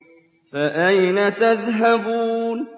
فَأَيْنَ تَذْهَبُونَ